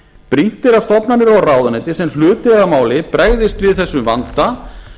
brýnt er að stofnanir og ráðuneyti sem hlut eiga að máli bregðist við þessum vanda